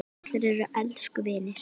Allir eru elsku vinir.